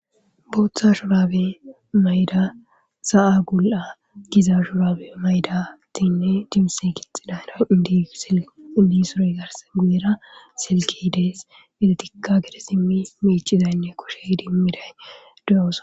Booththa shurabe mayda sa7a gul7a giza shurabe maydatinne diuusse kixxidayna idisindi suroy gars guyera silke dees idetikka gede simmi mecizaynne koshe dimmiday duyawusa.